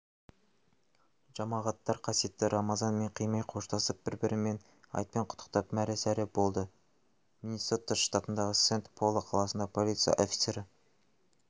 жамағаттар қасиетті рамазанмен қимай қоштасып бір-бірін айтпен құттықтап мәре-сәре болды миннесота штатындағы сент-пол қаласында полиция офицері